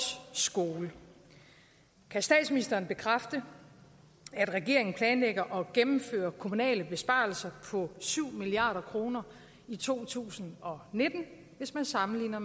skoler kan statsministeren bekræfte at regeringen planlægger at gennemføre kommunale besparelser på syv milliard kroner i to tusind og nitten hvis man sammenligner